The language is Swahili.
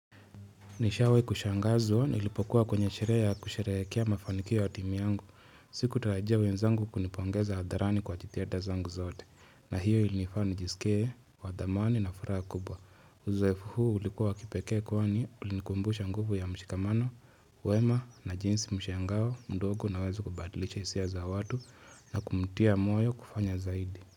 Nishawahi kushangazwa nilipokuwa kwenye sherehe ya kusherehea mafanikio ya timu yangu. Sikutarajia wenzangu kunipongeza hadharani kwa jitihada zangu zote na hiyo ilinifanya nijisikie wa thamani na furaha kubwa. Uzoefu huu ulikuwa wa kipekee kwani ulinikumbusha nguvu ya mshikamano wema na jinsi mshangao mdogo unaweza kubadilisha hisia za watu na kumtia moyo kufanya zaidi.